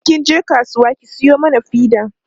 in kin je kasuwa ki Sayo mana fida